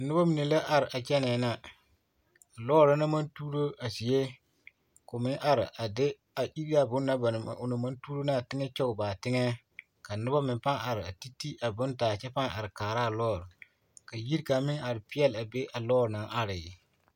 Noba mine la are a kyɛnɛɛ na lɔɔre na naŋ maŋ tuuro a zie ko meŋ are a de a iri a bonne na ba naŋ o naŋ maŋ tuuro ne a teŋɛ kyɔge ba teŋɛ ka noba meŋ paa are are a ti ti a bonne taa kyɛ paa are kaara a lɔɔre ka yiri kaŋ meŋ are peɛlle a be a lɔɔre naŋ are.